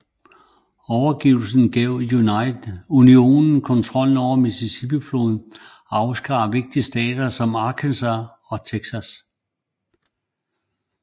Overgivelsen gav Unionen kontrollen med Mississippi floden og afskar vigtige stater som Arkansas og Texas